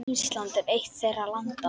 Ísland er eitt þeirra landa.